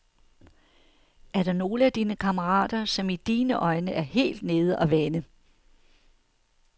Er der nogle af dine kammerater, som i dine øjne er helt nede og vende.